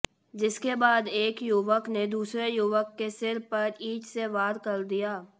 जिसके बाद एक युवक ने दूसरे युवक के सिर पर ईंट से वार कर दिया